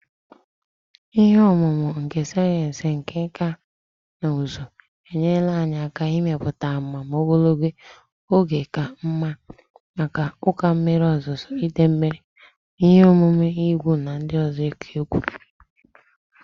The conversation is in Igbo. Ihe ọmụma nke sayensị na nkà na ụzụ enyerela anyị aka ịmepụta amụma ogologo oge ka mma maka ụkọ mmiri ozuzo, idei mmiri, na ihe omume ihu igwe ndị ọzọ dị oke egwu